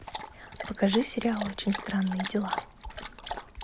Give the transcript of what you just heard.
покажи сериал очень странные дела